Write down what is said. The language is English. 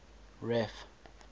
ref